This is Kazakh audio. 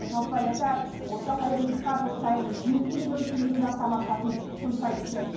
жалпы ляззат осы қайырымдылыққа жыл сайын жеті миллион теңгеден астам ақшасын жұмсайды екен